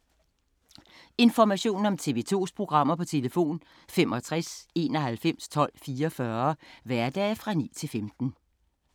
Information om TV 2's programmer: 65 91 12 44, hverdage 9-15.